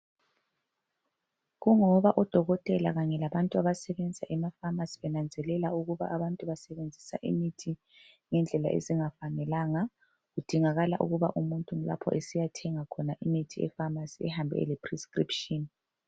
kungoba odokotela kanye labanye abasebenza ema phamarcy benanzelela ukuba abantu basebenzisa imithi ngendlela ezingafanelanga kudingakala ukuba umuntu ma esiya dinga imithi e phamarcy ahambe ele prescription